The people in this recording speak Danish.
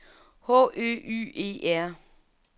H Ø Y E R